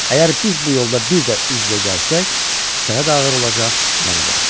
Əgər biz bu yolda bir də üz-üzə gəlsək, sənə də ağır olacaq, mənə də.